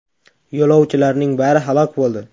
Yo‘lovchilarning bari halok bo‘ldi.